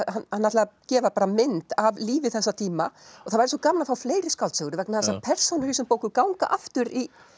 hann ætlaði að gefa mynd af lífi þessa tíma að það væri svo gaman að fá fleiri skáldsögur vegna þess að persónur í þessum bókum ganga aftur